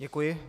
Děkuji.